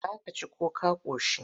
Za ka ci ko ka ƙoshi?